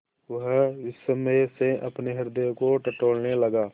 वह विस्मय से अपने हृदय को टटोलने लगा